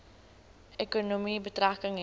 ekonomie betrekking hê